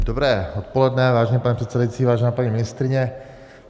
Dobré odpoledne, vážený pane předsedající, vážená paní ministryně.